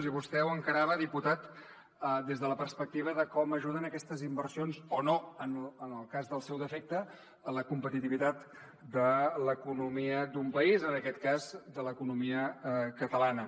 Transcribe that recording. i vostè ho encarava diputat des de la perspectiva de com ajuden aquestes inversions o no en el cas del seu defecte en la competitivitat de l’economia d’un país en aquest cas de l’economia catalana